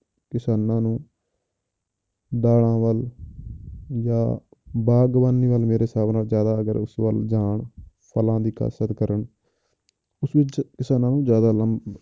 ਕਿਸਾਨਾਂ ਨੂੰ ਦਾਲਾਂ ਵੱਲ ਜਾਂ ਬਾਗ਼ਬਾਨੀ ਵੱਲ ਮੇਰੇ ਹਿਸਾਬ ਨਾਲ ਜ਼ਿਆਦਾ ਅਗਰ ਉਸ ਵੱਲ ਜਾਣ, ਫਲਾਂ ਦੀ ਕਾਸ਼ਤ ਕਰਨ ਉਸ ਵਿੱਚ ਕਿਸਾਨਾਂ ਨੂੰ ਜ਼ਿਆਦਾ ਲਾਭ